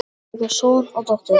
Þau eiga son og dóttur.